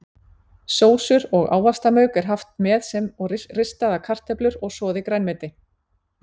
Sósur og ávaxtamauk er haft með sem og ristaðar kartöflur og soðið grænmeti.